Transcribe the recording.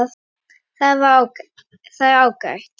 Það er ágætt.